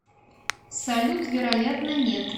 салют вероятно нет